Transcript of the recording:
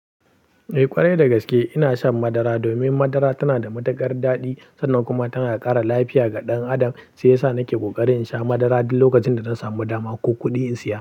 Eh, ƙwarai dagaske ina shan madara, domin madara tana da matukar daɗi, sannan kuma tana ƙara lafiya ga ɗan adam shiyasa nake ƙokarin in sha madara duk lokacin da na samu dama ko kuɗi in siya.